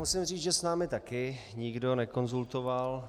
Musím říct, že s námi taky nikdo nekonzultoval.